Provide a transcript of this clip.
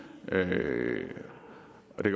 det